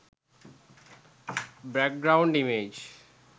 back ground image